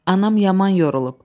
Anam yaman yorulub.